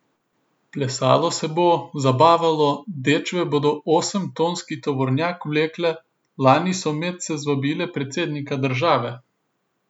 Plesalo se bo, zabavalo, dečve bodo osemtonski tovornjak vlekle, lani so medse zvabile predsednika države.